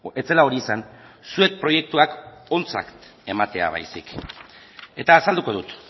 ez zela hori izan zuek proiektuak ontzat ematea baizik eta azalduko dut